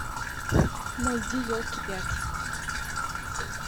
найди елки пять